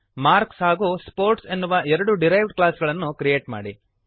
marks ಹಾಗೂ sports ಎನ್ನುವ ಎರಡು ಡಿರೈವ್ಡ್ ಕ್ಲಾಸ್ ಗಳನ್ನು ಕ್ರಿಯೇಟ್ ಮಾಡಿರಿ